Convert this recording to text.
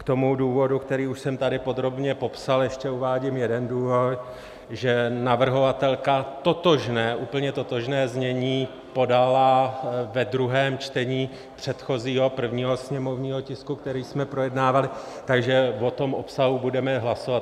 K tomu důvodu, který už jsem tady podrobně popsal, ještě uvádím jeden důvod, že navrhovatelka totožné, úplně totožné znění podala ve druhém čtení předchozího, prvního sněmovního tisku, který jsme projednávali, takže o tom obsahu budeme hlasovat.